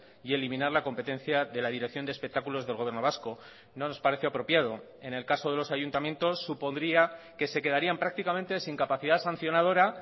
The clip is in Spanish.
y eliminar la competencia de la dirección de espectáculos del gobierno vasco no nos parece apropiado en el caso de los ayuntamientos supondría que se quedarían prácticamente sin capacidad sancionadora